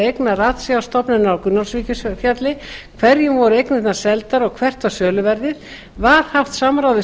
eigna ratsjárstofnunar á gunnólfsvíkurfjalli hverjum voru eignirnar seldar og hvert var söluverðið annars var haft samráð við sveitarfélög